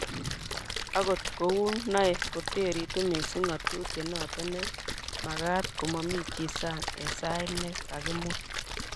akot kou noe kitoretu mising' ng'atutie noto ne mekat ko mamii chi sang' eng' sait ne kakimwa